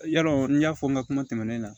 Yarɔ n y'a fɔ n ka kuma tɛmɛnen na